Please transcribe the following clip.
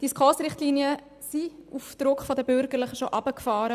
Die SKOS-Richtlinien wurden auf Druck der Bürgerlichen bereits heruntergefahren.